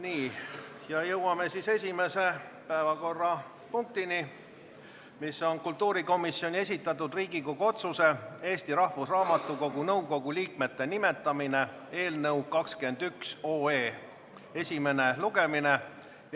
Oleme jõudnud esimese päevakorrapunktini, mis on kultuurikomisjoni esitatud Riigikogu otsuse "Eesti Rahvusraamatukogu nõukogu liikmete nimetamine" eelnõu 21 esimene lugemine.